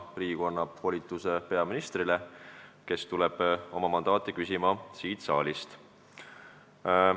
Riigikogu annab ju peaministrile volituse koostada valitsus – ta tuleb selleks mandaati küsima siit saalist.